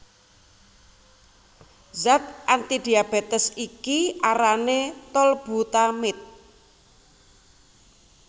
Zat antidiabetes iki arané tolbutamide